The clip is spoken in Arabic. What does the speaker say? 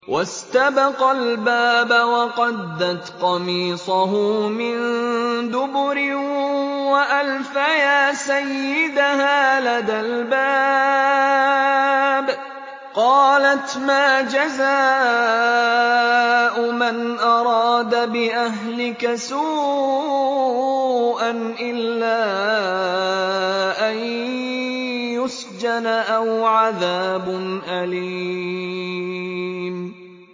وَاسْتَبَقَا الْبَابَ وَقَدَّتْ قَمِيصَهُ مِن دُبُرٍ وَأَلْفَيَا سَيِّدَهَا لَدَى الْبَابِ ۚ قَالَتْ مَا جَزَاءُ مَنْ أَرَادَ بِأَهْلِكَ سُوءًا إِلَّا أَن يُسْجَنَ أَوْ عَذَابٌ أَلِيمٌ